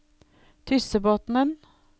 Tyssebotnen